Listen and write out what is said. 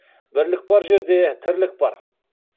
бірлік бар жерде тірлік бар